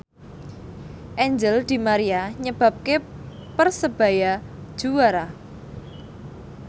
Angel di Maria nyebabke Persebaya juara